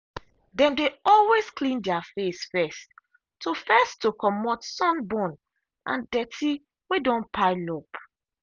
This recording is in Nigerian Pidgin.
them dey always clean their face first to first to comot sunburn and dirty way don pile up